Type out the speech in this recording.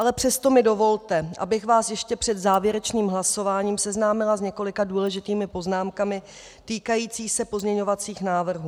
Ale přesto mi dovolte, abych vás ještě před závěrečným hlasováním seznámila s několika důležitými poznámkami týkajícími se pozměňovacích návrhů.